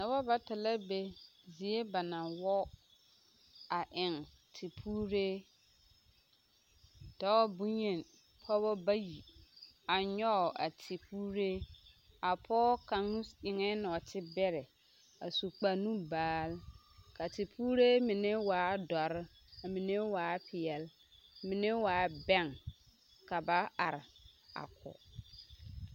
Noba bata la be zie ba na wɔɔ a eŋ tepuuree dɔɔ boyeni pɔɡeba bayi a nyɔɡe a tepuuree a pɔɔ kaŋ eŋɛɛ nɔɔtebɛrɛ a su kparnubaal ka a tepuuree mine waa dɔre ka mine waa peɛl mine waa bɛŋ ka ba are a kɔɡe.